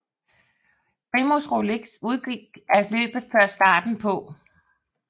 Primož Roglič udgik af løbet før starten på